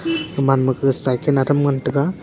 gaman ma gag cycle adam ngan taga.